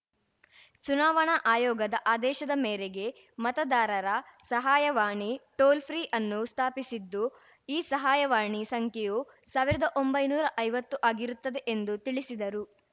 ಚುನಾವಣಾ ಆಯೋಗದ ಆದೇಶದ ಮೇರೆಗೆ ಮತದಾರರ ಸಹಾಯವಾಣಿ ಟೋಲ್‌ ಫ್ರೀ ಅನ್ನು ಸ್ಥಾಪಿಸಿದ್ದು ಈ ಸಹಾಯವಾಣಿ ಸಂಖ್ಯೆಯು ಸಾವಿರ್ದಾ ಒಂಬೈನೂರಾ ಐವತ್ತು ಆಗಿರುತ್ತದೆ ಎಂದು ತಿಳಿಸಿದರು